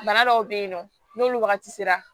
Bana dɔw be yen nɔ n'olu wagati sera